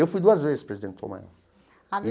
Eu fui duas vezes presidente do Tom Maior.